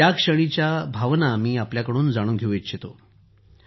त्या क्षणाला मी आपल्याकडून जाणून घेऊ इच्छितो